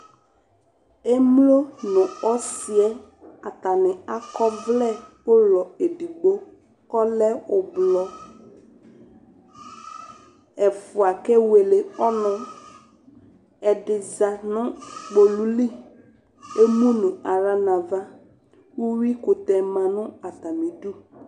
Emlo nʋ ɔsɩ yɛ atanɩ akɔ ɔvlɛ ʋlɔ edigbo kʋ ɔlɛ ʋblɔ Ɛfʋa kewele ɔnʋ Ɛdɩ za nʋ kpolu li kʋ emu nʋ aɣla nʋ ava Uyuikʋtɛ ma nʋ atamɩdu